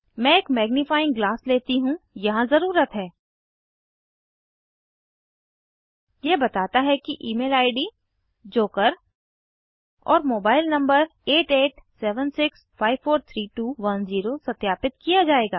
मैं एक magnifying glass लेती हूँ यहाँ ज़रुरत है यह बताता है कि ईमेल id जोकर और मोबाइल नंबर 8876543210 सत्यापित किया जायेगा